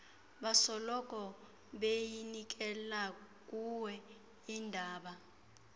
basoloko beyinikelakuwe indaba